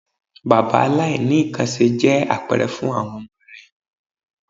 Bàbá aláìníkanńṣe jẹ́ àpẹrẹ fún àwọn ọmọ rẹ̀.